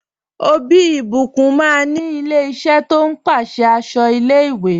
Ọbí Ìbíkún máa ní ilẹ̀ ìṣẹ̀ tó n pèsè àṣọ ilẹ̀-ìwé.